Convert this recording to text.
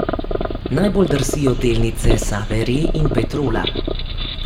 Najbolj drsijo delnice Save Re in Petrola.